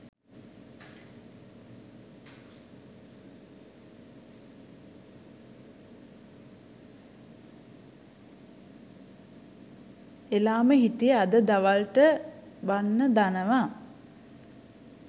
එලාම හිටියේ අද දවල්ට බන්න දනව